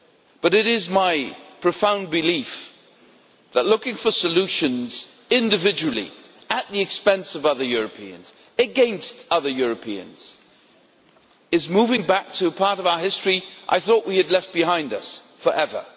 But it is my profound belief that looking for solutions individually, at the expense of other Europeans, against other Europeans, is moving back to a part of our history I thought we had left behind us forever.